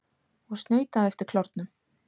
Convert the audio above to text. Og snautaðu eftir klárnum.